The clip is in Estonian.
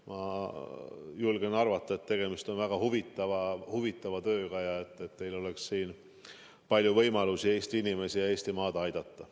Ma julgen arvata, et tegemist on väga huvitava tööga ja teil on siin palju võimalusi Eesti inimesi ja Eestimaad aidata.